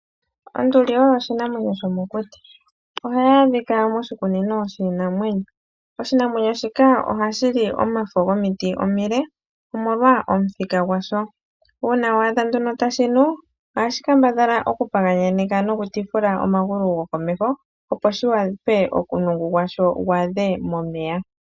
Onduli oyo oshinamwenyo shomokuti. Ohayi adhika moshikunino shiinamwenyo. Oshinamwenyo shika ohashi li omafo gomiti omile, omolwa omuthika gwasho. Uuna wa adha nduno tashi nu, ohashi kambadhala okupaganyaneka nokutifula omagulu gokomeho, opo shi wape omulungu gwasho gu adhe momeya.